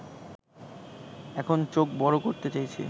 এখন চোখ বড় করতে চাইছে